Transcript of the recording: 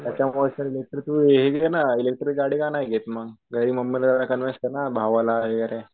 त्याच्यामुळेच तर ती हि घे ना इलेकट्रीक गाडी का नाही घेत म.घरी मम्मीला यांच्या कॉन्व्हेन्स कर ना भावाला